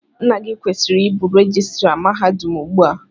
Nna gị kwesịrị ịbụ rejistra mahadum ugbu a.